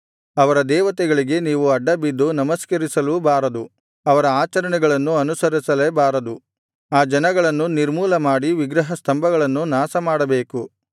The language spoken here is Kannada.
ಅವರ ದೇವತೆಗಳಿಗೆ ನೀವು ಅಡ್ಡಬಿದ್ದು ನಮಸ್ಕರಿಸಲೂ ಬಾರದು ಅವರ ಆಚರಣೆಗಳನ್ನು ಅನುಸರಿಸಲೇ ಬಾರದು ಆ ಜನಗಳನ್ನು ನಿರ್ಮೂಲಮಾಡಿ ವಿಗ್ರಹಸ್ತಂಭಗಳನ್ನು ನಾಶಮಾಡಬೇಕು